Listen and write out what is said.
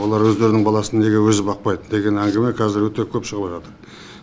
олар өздерінің баласын неге өзі бақпайды деген әңгіме қазір өте көп шығыватады